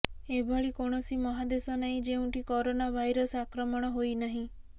ଏଭଳି କୌଣସି ମହାଦେଶ ନାହିଁ ଯେଉଁଠି କରୋନା ଭାଇରସ ଆକ୍ରମଣ ହୋଇନାହିଁ